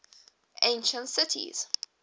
ancient cities